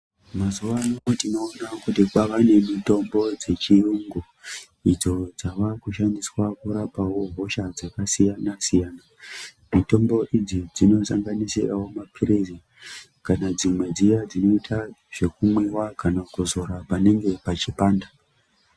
Mazuvaano tinowone kuti kwavane mitombo dzechiyungu ,idzo dzavakushandiswa kurapawo hosha dzakasiyana siyana, mitombo idzi dzinosanganisira mapirisi kana dziya dzinoita zvekunwiwa kana kuzora panenge pachi panda.